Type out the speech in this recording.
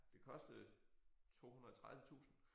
Det kostede 230 tusind